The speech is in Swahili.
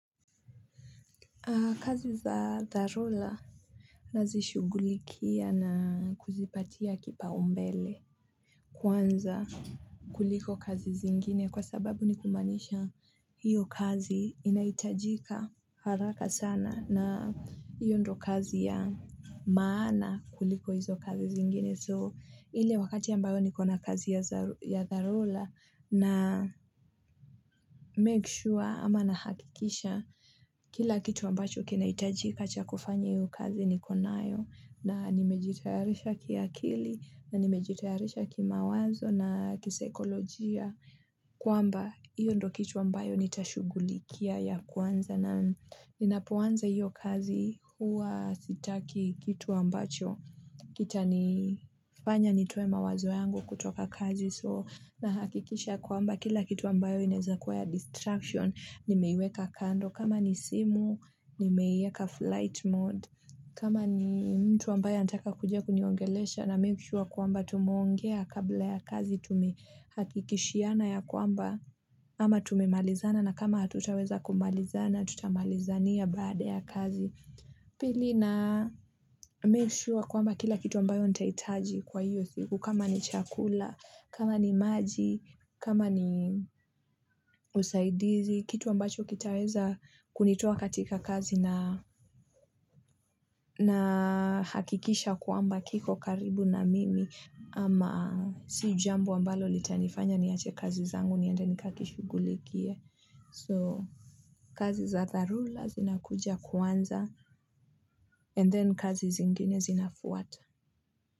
Kazi za dharura nazishughulikia na kuzipatia kipaumbele Kwanza kuliko kazi zingine kwa sababu ni kumaanisha hiyo kazi inahitajika haraka sana na hiyo ndo kazi ya maana kuliko hizo kazi zingine so ile wakati ambayo niko na kazi ya dharura na na make sure ama na hakikisha kila kitu ambacho kinahitajika chakufanya hiyo kazi nikonayo na nimejitayarisha kiakili na nimejitayarisha kimawazo na kisaikolojia kwamba hiyo ndo kitu ambayo nitashughulikia ya kwanza na inapoanza hiyo kazi huwa sitaki kitu ambacho kitanifanya nitoe mawazo yangu kutoka kazi. So na hakikisha kwamba kila kitu ambayo inaweza kuwa ya distraction nimeiweka kando. Kama ni simu, nimeiweka flight mode. Kama ni mtu ambayo anataka kuja kuniongelesha na mikishuwa kwamba tumeongea kabla ya kazi tumehakikishiana ya kwamba ama tumemalizana na kama hatutaweza kumalizana tutamalizania baada ya kazi. Pili na meeshuwa kwamba kila kitu ambayo nitahitaji kwa hiyo siku kama ni chakula, kama ni maji, kama ni usaidizi, kitu ambacho kitaweza kunitoa katika kazi na hakikisha kwamba kiko karibu na mimi ama si jambo ambalo litanifanya niache kazi zangu niende nikakishugulikie. So, kazi za dharura zinakuja kwanza and then kazi zingine zinafuata.